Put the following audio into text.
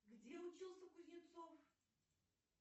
где учился кузнецов